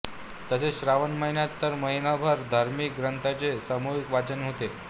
तसेच श्रावण महिन्यात तर महिनाभर धार्मिक ग्रंथांचे सामूहिक वाचन होते